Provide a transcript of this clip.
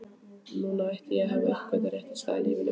Núna átti ég að hafa uppgötvað rétta staðinn í lífinu.